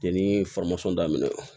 Yani daminɛ